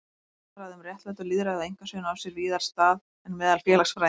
Orðræða um réttlæti og lýðræði á einkasviðinu á sér víðar stað en meðal félagsfræðinga.